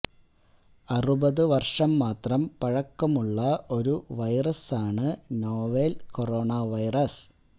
അറുപത് വര്ഷം മാത്രം പഴക്കമുള്ള ഒരു വൈറസാണ് നൊവേല് കൊറോണ വൈറസ്